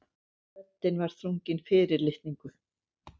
Röddin var þrungin fyrirlitningu.